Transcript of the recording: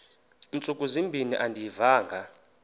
ntsuku zimbin andiyivanga